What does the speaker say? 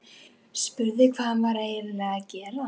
Spurði hvað hann væri eiginlega að gera.